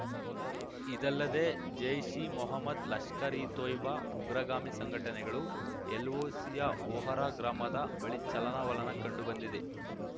ಇದಲ್ಲದೆ ಜೈಷ್ಇಮೊಹ್ಮದ್ ಲಷ್ಕರ್ ಇತೊಯ್ಬಾ ಉಗ್ರಗಾಮಿ ಸಂಘಟನೆಗಳು ಎಲ್‌ಓಸಿಯ ಓಹರಾ ಗ್ರಾಮದ ಬಳಿ ಚಲನವಲನ ಕಂಡು ಬಂದಿದೆ